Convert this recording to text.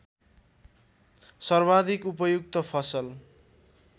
सर्वाधिक उपयुक्त फसल